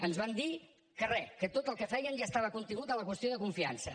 ens van dir que re que tot el que feien ja estava contingut a la qüestió de confiança